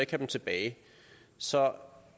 dem tilbage så